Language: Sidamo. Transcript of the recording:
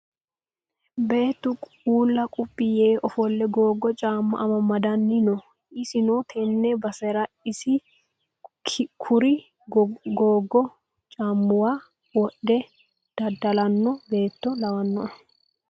Beettu uulla quphi yee ofolle googo caamma amamadanni no. Isino tenne basera isi kuri gogo caammuwa wodhe dadda'lano beetto lawannoe.